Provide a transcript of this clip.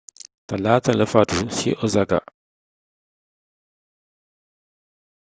talaata la faatu ci osaka